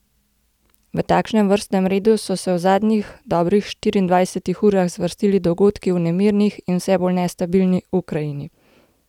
V takšnem vrstnem redu so se v zadnjih dobrih štiriindvajsetih urah zvrstili dogodki v nemirni in vse bolj nestabilni Ukrajini.